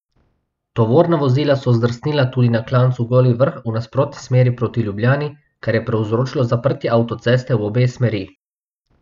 Tovorna vozila so zdrsnila tudi na klancu Goli vrh v nasprotni smeri proti Ljubljani, kar je povzročilo zaprtje avtoceste v obe smeri.